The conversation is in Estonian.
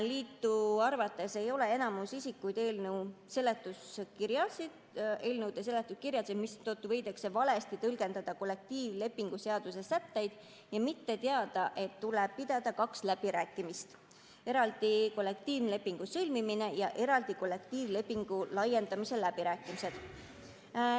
Liidu arvates ei loe enamus isikuid eelnõude seletuskirjasid, mistõttu võidakse valesti tõlgendada kollektiivlepingu seaduse sätteid ja mitte teada, et tuleb pidada kahed läbirääkimised: eraldi kollektiivlepingu sõlmimise ja eraldi kollektiivlepingu laiendamise läbirääkimised.